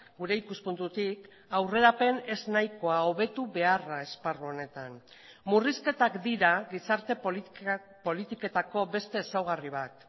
gure ikuspuntutik aurrerapen eznahikoa hobetu beharra esparru honetan murrizketak dira gizarte politiketako beste ezaugarri bat